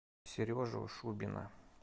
сережу шубина